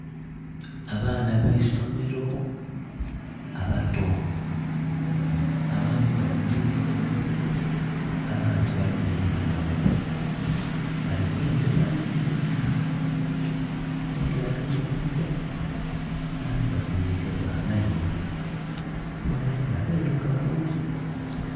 Abaana abaisomelo abato abandi bali mwiyunifomu abandi tibali mwiyunifomu balikulengeza mwiidinhisa oghundhi agemye kumutwe abandhi basinhike bwamainho boonaboona bailugavu